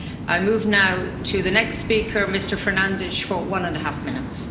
I move now to the next speaker, Mr Fernández, for one and a half minutes.